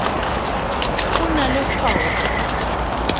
o na le kgwao ka